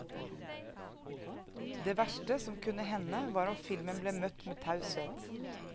Det verste som kunne hende var om filmen ble møtt med taushet.